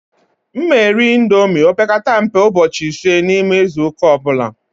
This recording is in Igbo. M na- eri índomi ma opekata mpe ụbọchị ịse na ime izuuka ọbula.